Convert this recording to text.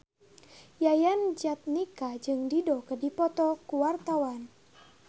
Yayan Jatnika jeung Dido keur dipoto ku wartawan